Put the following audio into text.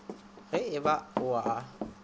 ge e ba o a